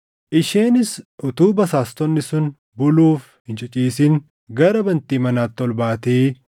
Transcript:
Isheenis utuu basaastonni sun buluuf hin ciciisin gara bantii manaatti ol baatee